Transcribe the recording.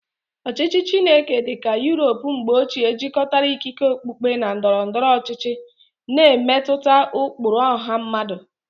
Ọchịchị Chineke dị ka Europe mgbe ochie jikọtara ikike okpukpe na ndọrọ ndọrọ ọchịchị, na-emetụta ụkpụrụ ọha mmadụ.